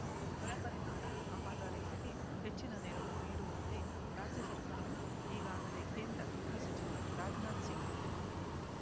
ಬರ ಪರಿಹಾರ ಕಾಮಗಾರಿಗಳಿಗೆ ಹೆಚ್ಚಿನ ನೆರವು ನೀಡುವಂತೆ ರಾಜ್ಯ ಸರ್ಕಾರ ಈಗಾಗಲೇ ಕೇಂದ್ರ ಗೃಹ ಸಚಿವ ರಾಜನಾಥ್ ಸಿಂಗ್